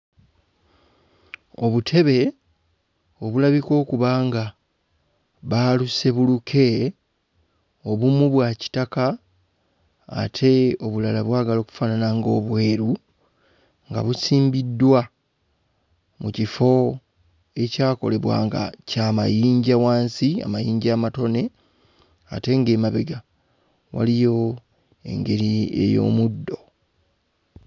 Obutebe obulabika okuba nga baaluse buluke. Obumu bwa kitaka ate obulala bwagala okufaanana ng'obweru nga busimbiddwa mu kifo ekyakolebwa nga kya mayinja wansi; amayinja amatone ate ng'emabega waliyo engeri ey'omuddo.